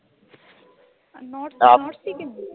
north Sikkim